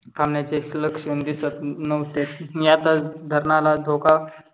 थंबण्याचे लक्षण दिसत नव्हते. मी आता धरणाला धोका